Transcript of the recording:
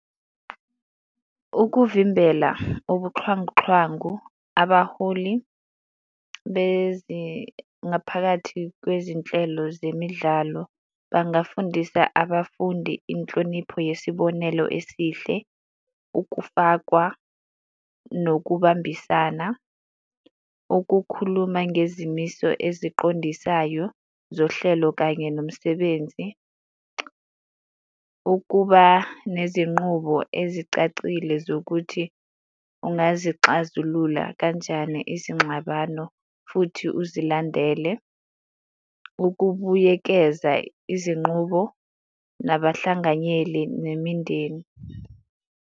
Ukuvimbela ubuxhwanguxhwangu, abaholi ngaphakathi kwezinhlelo zemidlalo bangafundisa abafundi inhlonipho yesibonelo esihle, ukufakwa nokubambisana, ukukhuluma ngezimiso eziqondisayo zohlelo kanye nomsebenzi. Ukuba nezinqubo ezicacile zokuthi ungazixazulula kanjani izingxabano futhi uzilandele. Ukubuyekeza izinqubo nabahlanganyeli nemindeni.